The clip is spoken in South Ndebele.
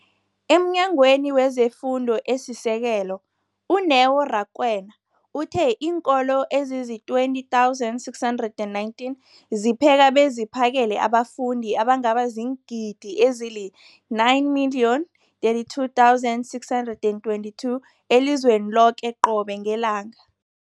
EmNyangweni wezeFundo esiSekelo, u-Neo Rakwena, uthe iinkolo ezizi-20 619 zipheka beziphakele abafundi abangaba ziingidi ezili-9 032 622 elizweni loke qobe ngelanga.